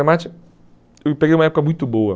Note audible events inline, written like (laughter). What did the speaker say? (unintelligible) Eu peguei uma época muito boa.